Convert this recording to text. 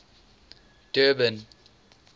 durban